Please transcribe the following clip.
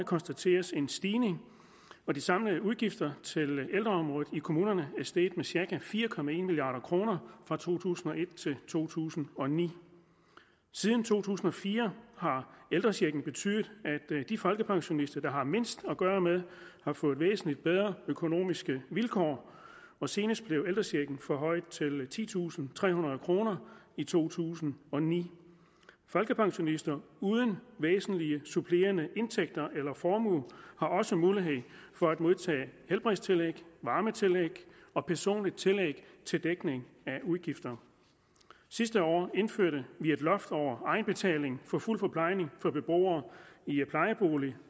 konstateres en stigning de samlede udgifter til ældreområdet i kommunerne er steget med cirka fire milliard kroner fra to tusind og et til to tusind og ni siden to tusind og fire har ældrechecken betydet at de folkepensionister der har mindst at gøre med har fået væsentlig bedre økonomiske vilkår og senest blev ældrechecken forhøjet til titusinde og trehundrede kroner i to tusind og ni folkepensionister uden væsentlige supplerende indtægter eller formue har også mulighed for at modtage helbredstillæg varmetillæg og personligt tillæg til dækning af udgifter sidste år indførte vi et loft over egenbetaling for fuld forplejning for beboere i plejebolig